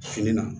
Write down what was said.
Fini na